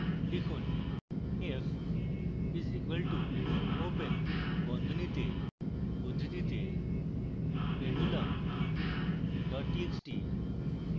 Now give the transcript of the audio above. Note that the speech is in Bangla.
লিখুন f is equal to open বন্ধনীতে উদ্ধৃতিতে pendulum dot txt